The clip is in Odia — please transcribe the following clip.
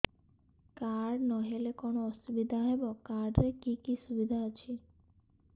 କାର୍ଡ ନହେଲେ କଣ ଅସୁବିଧା ହେବ କାର୍ଡ ରେ କି କି ସୁବିଧା ଅଛି